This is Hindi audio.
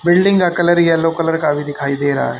बिल्डिंग का कलर येलो कलर का भी दिखाई दे रहा है।